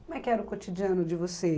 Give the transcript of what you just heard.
Como é que era o cotidiano de você?